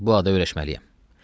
Mən bu adı öyrəşməliyəm.